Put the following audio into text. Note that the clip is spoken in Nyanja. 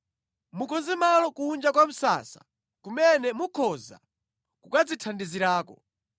Mukonze malo kunja kwa msasa kumene mukhoza kukadzithandizirako.